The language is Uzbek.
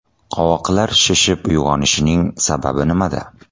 Qovoqlar shishib uyg‘onishning sababi nimada?.